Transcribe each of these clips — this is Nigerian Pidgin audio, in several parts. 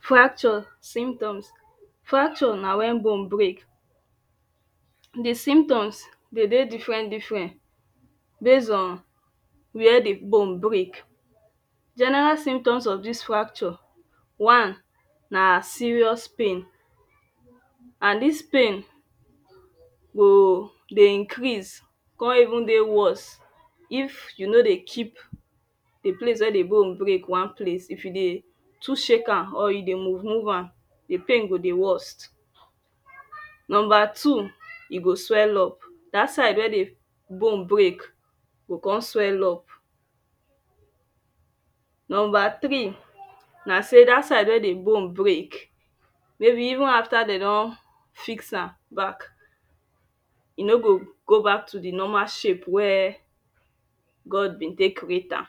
Fracture symptoms Fracture na when bone break. The symptoms dey dey different different base on where the bone break general symptoms Of this fracture Na serious pain and this pain go dey increase come even dey worse if you no dey keep the place where the bone break one place if you dey too shake am or you dey move move am the pain go dey worst Number two e go swell up that side wey the bone break go come swell up Number 3 na say that side wey the bone break maybe even after dem don fix am back am back e no go go back to the normal shape wey God been take create am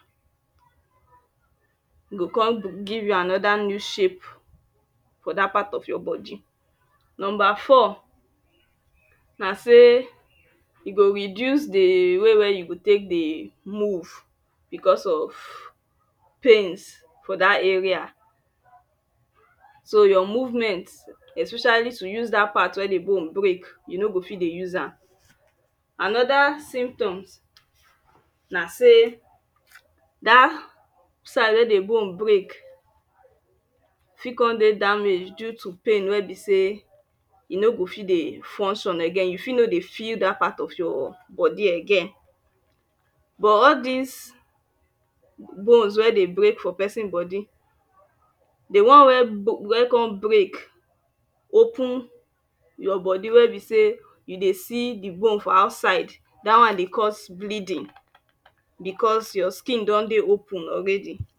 e go come give you another new shape for that part of your body Number four na say e go reduce the way wey you go take dey move because of pains for that area so your movements especially to use that part wey the bone break you no go fit dey use am. Another symptoms na say that side wey the bone break fit come dey damaged due to pain wey be say e no go fit dey function again you fit no go fell that part of your body again but all this bones wey dey break for person body the one wey come break open your body wey be say you dey see the bone for outside, that one dey cause bleeding because your skin don dey open.